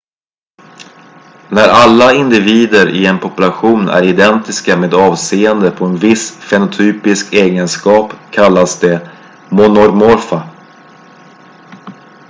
när alla individer i en population är identiska med avseende på en viss fenotypisk egenskap kallas de monomorfa